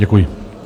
Děkuji.